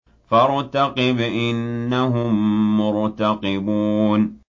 فَارْتَقِبْ إِنَّهُم مُّرْتَقِبُونَ